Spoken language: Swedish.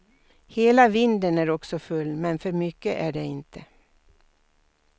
Hela vinden är också full, men för mycket är det inte.